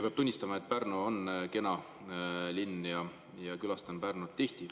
Peab tunnistama, et Pärnu on kena linn ja külastan Pärnut tihti.